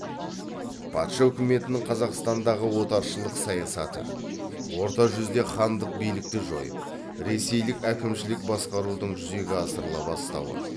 патша үкіметінің қазақстандағы отаршылдық саясаты орта жүзде хандық билікті жойып ресейлік әкімшілік басқарудың жүзеге асырыла бастауы